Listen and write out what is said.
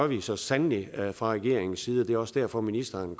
vi så sandelig fra regeringens side det er også derfor ministeren